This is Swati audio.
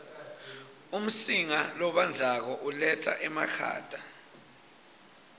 umsinga lobandzako uletsa emakhata